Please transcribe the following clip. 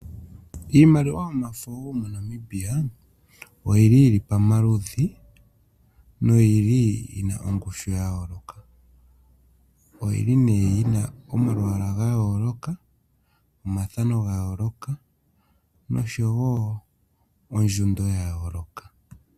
Iimaliwa yomafo wo moNamibia oyili yili pamaludhi noyili yina ongushu ya yooloka. Oyili nee yina omalwaala ga yooloka, omathano ga yooloka noshowo ondjundo ya yooloka.